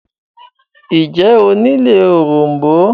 ǹjẹ́ o nílò òrom̀bó?